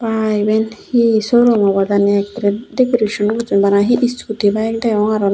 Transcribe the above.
aa iyen he showroom obo jani ekkere decoration gochun bana he scooty bike degong aro na he.